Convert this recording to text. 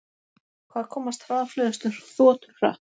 Hvað komast hraðfleygustu þotur hratt?